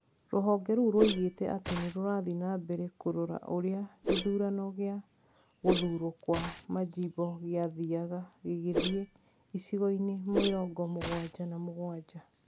Rũhonge rũu rũoigĩte atĩ nĩ rurathiĩte na mbere kũrora ũrĩa gĩthurano gĩa gũthurwo kwa manjimbo gĩathiaga gĩgĩthiĩ icigo-inĩ mĩrongo mũgwanja na mũgwanja.